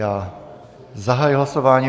Já zahajuji hlasování.